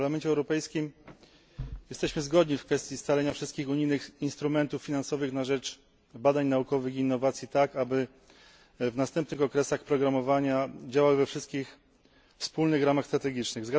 W Parlamencie Europejskim jesteśmy zgodni w kwestii scalenia wszystkich unijnych instrumentów finansowych na rzecz badań naukowych i innowacji tak, aby w następnych okresach planowania działały we wszystkich wspólnych ramach strategicznych.